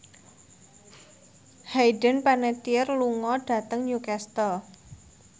Hayden Panettiere lunga dhateng Newcastle